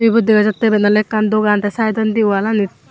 ebot degajattey eban oley ekkan dogan tey saaidondi wallanit.